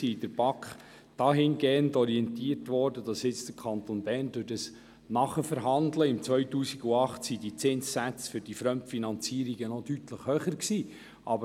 Die BaK wurde dahingehend orientiert, dass die Zinssätze für die Fremdfinanzierungen damals deutlich höher waren.